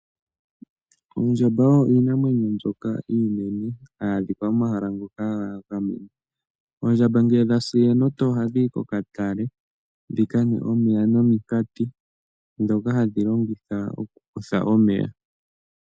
Oondjamba odho iinamwenyo mbyoka iinene hayi adhika momahala ngoka ga gamenwa. Oondjamba ngele dha si enota ohadhi yi kokatale dhi ka nwe omeya nominkati ndhoka hadhi longitha okukutha omeya.